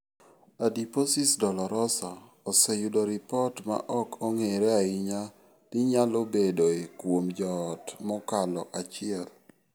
Adiposis dolorosa oseyudo ripot ma ok ong'ere ahinya ni nyalo bedoe kuom joot mokalo achiel.